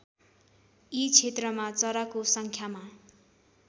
यी क्षेत्रमा चराको सङ्ख्यामा